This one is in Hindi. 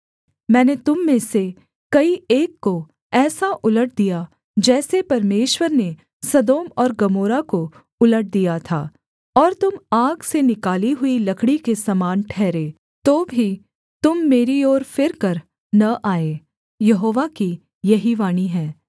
मैंने तुम में से कई एक को ऐसा उलट दिया जैसे परमेश्वर ने सदोम और गमोरा को उलट दिया था और तुम आग से निकाली हुई लकड़ी के समान ठहरे तो भी तुम मेरी ओर फिरकर न आए यहोवा की यही वाणी है